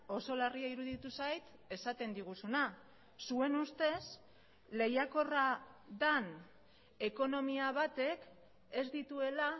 oso larria iruditu zait esaten diguzuna zuen ustez lehiakorra den ekonomia batek ez dituela